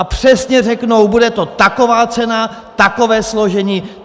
A přesně řeknou, bude to taková cena, takové složení!